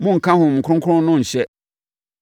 Monnka Honhom Kronkron no nhyɛ;